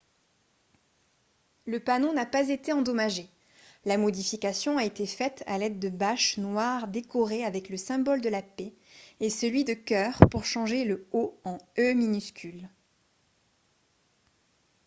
le panneau n’a pas été endommagé ; la modification a été faite à l’aide de bâches noires décorées avec le symbole de la paix et celui de cœur pour changer le « o » en « e » minuscule